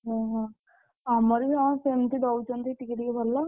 ଓହୋ, ଆମର ବି ହଁ ସେମତି ଦଉଛନ୍ତି ଟିକେ ଟିକେ ଭଲ।